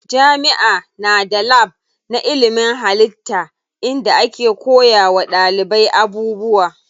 Jami'a na da lab na ilimin hallitta inda ake koya wa ɗalibai abubuwa.